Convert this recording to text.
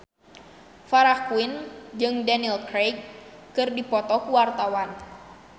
Farah Quinn jeung Daniel Craig keur dipoto ku wartawan